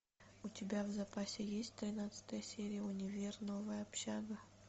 у тебя в запасе есть тринадцатая серия универ новая общага